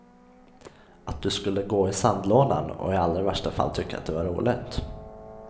Att du skulle gå i sandlådan, och i allra värsta fall tycka att det var roligt.